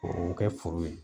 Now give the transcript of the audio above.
O o kɛ foro ye